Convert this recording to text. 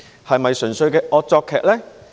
是否純粹的惡作劇呢？